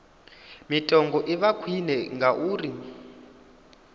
mitengo i vha khwine ngauri